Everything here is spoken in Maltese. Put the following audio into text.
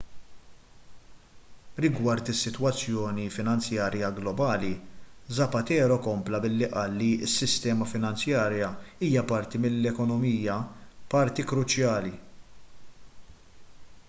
rigward is-sitwazzjoni finanzjarja globali zapatero kompla billi qal li s-sistema finanzjarja hija parti mill-ekonomija parti kruċjali